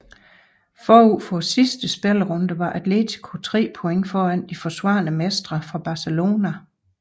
Forud for sidste spillerunde var Atletico tre point foran de forsvarende mestre fra Barcelona